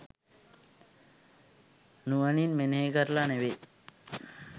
නුවණින් මෙනෙහි කරලා නෙවෙයි.